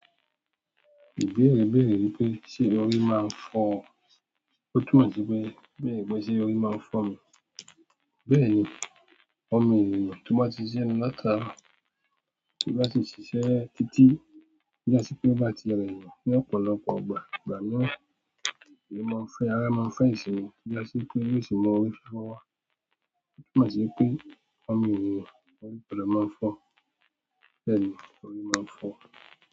Ìbéèrè béèrè wípé ṣe orí máa ń fọ́? Ó túmọ̀ sí pé, béèrè pé ṣe orí máa ń fọ́ mi? Bẹ́ẹ̀ni, ọmọ ènìyàn tó bá ti ṣiṣẹ lọ laataro, tó bá si ṣíṣe títí, to ba ṣe pe ó bá ti rẹ̀yan ní ọ̀pọ̀lọpọ̀ ìgbà, ìgbà mìíràn, ara máa ń fẹ́ ìsinmi, tó ja si pé yóò sì mú orí fifọ wa. Ó túmọ̀ sí pé ọmọ ènìyàn orí gbọdọ máa fọ́, bẹ́ẹ̀ni orí máa ń fọ́.